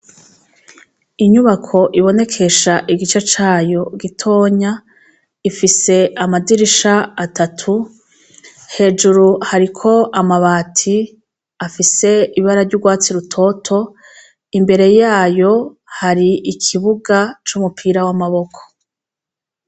Inyubako ibonekesha igice cayo gitoya, ifise amadirisha atatu, hejuru hariko amabati afise ibara ry'urwatsi rutoto, imbere yayo hari ikibuga c'umupira w'amaboko.